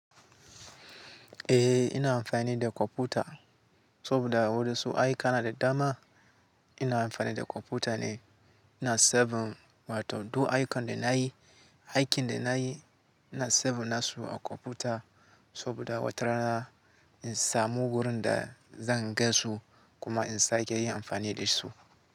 Eh ina amfani da kwamfuta saboda wurin aiki kana da dama. Ina amfani da kwamfuta ne, ina saving, ma to duk aikin da na yi, aikin da na yi ina saving na su a kwamfuta saboda watarana in samu wurin da zan gan su kuma in sake yin amfani da su.